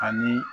Ani